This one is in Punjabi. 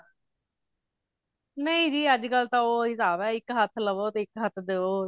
ਨਹੀਂ ਜੀ ਅੱਜ ਕਲ ਤਾਂ ਉਹ ਹਿਸਾਬ ਆ ਇੱਕ ਹੱਥ ਲਵੋ ਤੇ ਇੱਕ ਹੱਥ ਦੇਵੋ